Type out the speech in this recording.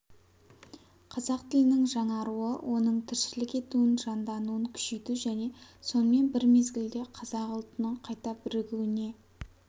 қазақ тілінің жаңаруы оның тіршілік етуін жандануын күшейту және сонымен бір мезгілде қазақ ұлтының қайта бірігуіне